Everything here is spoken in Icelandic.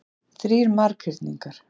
Þrír marghyrningar.